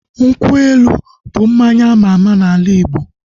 Nkwụ elu bụ mmanya ama ama n'ala Igbo